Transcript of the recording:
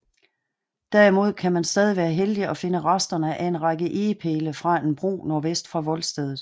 Derimod kan man stadig være heldig at finde resterne af en række egepæle fra en bro nordvest for voldstedet